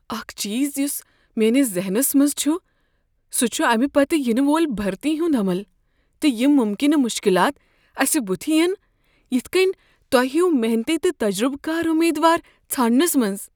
اکھ چیز یس میٲنس ذہنس منٛز چھ، سُہ چھ امہ پتہٕ ینہٕ وول بھرتی ہنٛد عمل، تہٕ یم ممکنہٕ مشکلات اسہ بُتھ ین یتھ کٔنۍ توہہ ہیُو محنتی تہٕ تجربہٕ کار امیدوار ژھانٛڈنس منٛز۔